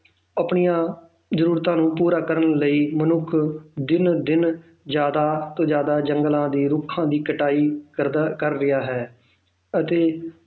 ਆਪਣੀਆਂ ਜ਼ਰੂਰਤਾਂ ਨੂੰ ਪੂਰਾ ਕਰਨ ਲਈ ਮਨੁੱਖ ਦਿਨੋ ਦਿਨ ਜ਼ਿਆਦਾ ਤੋਂ ਜ਼ਿਆਦਾ ਜੰਗਲਾਂ ਦੇ ਰੁੱਖਾਂ ਦੀ ਕਟਾਈ ਕਰਦਾ ਕਰ ਰਿਹਾ ਹੈ ਅਤੇ